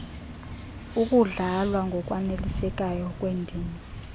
ukudlalwa ngokwanelisekayo kwendima